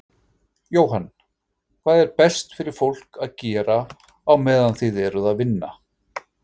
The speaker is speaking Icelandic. Jóhann: Hvað er best fyrir fólk að gera á meðan þið eruð að vinna?